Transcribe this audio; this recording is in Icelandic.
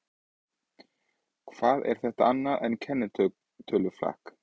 Hvað er þetta annað en kennitöluflakk?